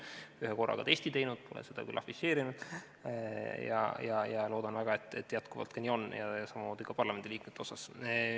Olen ühe korra ka testi teinud, pole seda küll afišeerinud, ja loodan väga, et jätkuvalt nii ka on, samamoodi parlamendiliikmete seas.